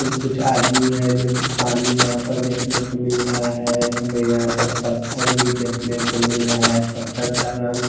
कुछ आदमी हैं जो की पानी यहां पर देखने को मिल रहा है हमें यहां पर पत्थर भी देखने को मिल रहा है पत्थर का रंग--